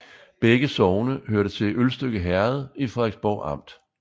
Begge sogne hørte til Ølstykke Herred i Frederiksborg Amt